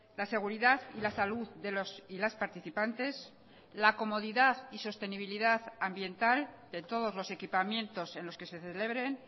la seguridad y la salud de los y las participantes la comodidad y sostenibilidad ambiental de todos los equipamientos en los que se celebren